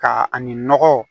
Ka ani nɔgɔ